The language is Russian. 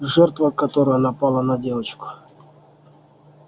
жертва которая напала на девочку